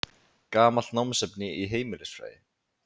Gamalt námsefni í heimilisfræði.